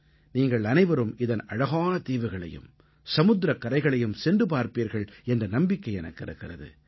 நீங்கள் அனைவரும் இதன் அழகான தீவுகளையும் சமுத்திரக் கரைகளையும் சென்று பார்ப்பீர்கள் என்ற நம்பிக்கை எனக்கு இருக்கிறது